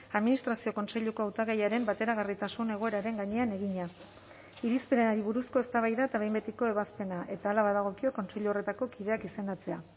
administrazio kontseiluko hautagaiaren bateragarritasun egoeraren gainean egina irizpenari buruzko eztabaida eta behin betiko ebazpena eta hala badagokio kontseilu horretako kideak izendatzea